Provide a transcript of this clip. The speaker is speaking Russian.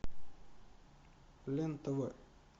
лен тв